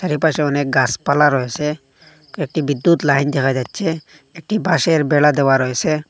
এর পাশে অনেক গাসপালা রয়েসে একটি বিদ্যুৎ লাইন দেখা যাচ্ছে একটি বাঁশের বেড়া দেয়া রয়েসে।